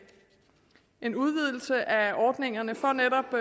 en udvidelse af ordningerne for netop